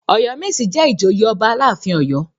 Ọ̀yọ́mèsì jẹ́ ìjòyè ọba aláàfin Ọ̀yọ́.